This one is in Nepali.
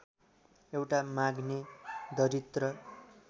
एउटा माग्ने दरिद्र